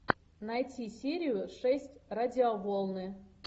найти серию шесть радиоволны